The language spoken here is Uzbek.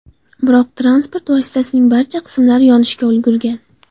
Biroq, transport vositasining barcha qismlari yonishga ulgurgan.